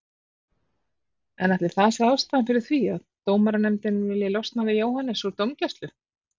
En ætli það sé ástæðan fyrir því að dómaranefndin vilji losna við Jóhannes úr dómgæslu?